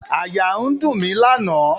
Àyà ń dùn mí lánàá.